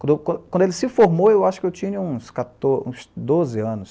Quando eu qua quando ele se formou, eu acho que eu tinha uns quator uns doze anos